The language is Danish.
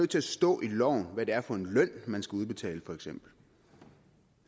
til at stå i loven hvad det er for en løn man skal udbetale for eksempel